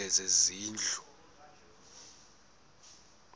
lezezindlu